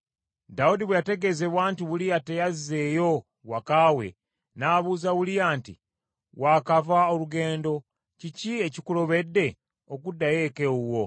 Dawudi bwe yategeezebwa nti, “Uliya teyazeeyo waka we,” n’abuuza Uliya nti, “Waakava olugendo, kiki ekikulobedde okuddayo eka ewuwo?”